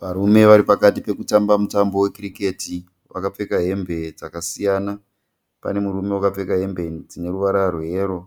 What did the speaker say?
Varume vari pakati pekutamba mutambo wekiriketi vakapfeka hembe dzakasiyana. Pane murume akapfeka hembe dzine ruvara rweyero,